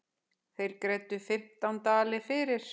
Þeir greiddu fimmtán dali fyrir.